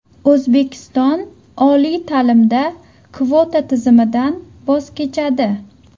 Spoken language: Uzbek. O‘zbekiston oliy ta’limda kvota tizimidan voz kechadi.